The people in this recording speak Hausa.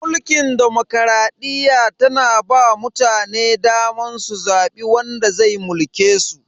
Mulkin demokradiyya tana ba wa mutane daman su zabi wanda zai mulke su.